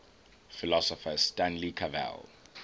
philosopher stanley cavell